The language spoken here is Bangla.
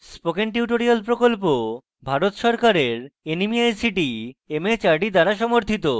spoken tutorial প্রকল্প ভারত সরকারের nmeict mhrd দ্বারা সমর্থিত